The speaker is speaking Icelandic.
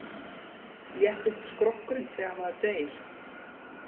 Léttist skrokkurinn þegar maður deyr?